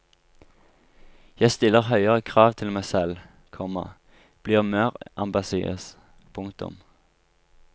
Jeg stiller høyere krav til meg selv, komma blir mer ambisiøs. punktum